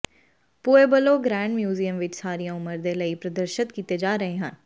Pueblo Grand museum ਵਿਚ ਸਾਰੀਆਂ ਉਮਰ ਦੇ ਲਈ ਪ੍ਰਦਰਸ਼ਤ ਕੀਤੇ ਜਾ ਰਹੇ ਹਨ